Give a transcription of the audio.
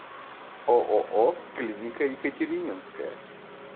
ооо клиника екатерининская